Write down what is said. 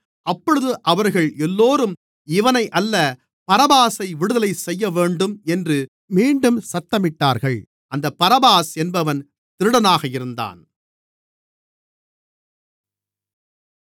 அப்பொழுது அவர்கள் எல்லோரும் இவனை அல்ல பரபாசை விடுதலை செய்யவேண்டும் என்று மீண்டும் சத்தமிட்டார்கள் அந்தப் பரபாஸ் என்பவன் திருடனாக இருந்தான்